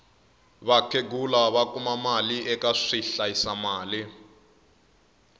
vakhegula va kuma mali eka swi hlayisa mali